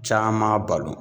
Caman balo.